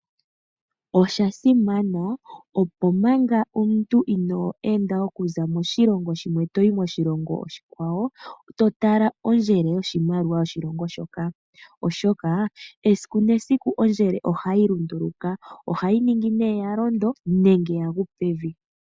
Osha simamana opo manga omuntu inoo enda okuza moshilongo shimwe toyi moshilongo oshikwawo, to tala ondjele yoshimaliwa yoshilongo shoka, oshoka esiku nesiku ondjele ohayi lunduluka. Ohayi ningi nee ya londo nenge yagu pevi.